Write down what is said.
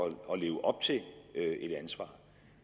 at leve op til et ansvar